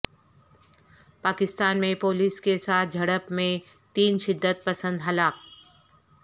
پاکستان میں پولیس کے ساتھ جھڑپ میں تین شدت پسند ہلاک